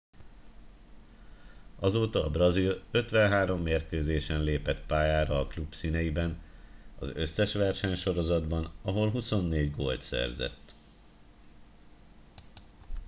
azóta a brazil 53 mérkőzésen lépett pályára a klub színeiben az összes versenysorozatban ahol 24 gólt szerzett